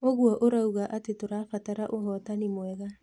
ũguo ũrauga atĩ tũrabatara ũhotani mwega.